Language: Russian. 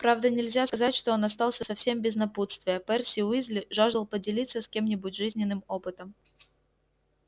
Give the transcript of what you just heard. правда нельзя сказать что он остался совсем без напутствия перси уизли жаждал поделиться с кем-нибудь жизненным опытом